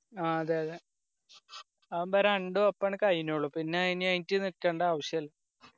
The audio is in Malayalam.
അ അതെ അതെ അതാബൊ രണ്ടും അപ്പോന്നെ കയിഞ്ഞോളും ആയിനായിറ്റ് നിക്കണ്ടേ ആവശ്യം ഇല്ല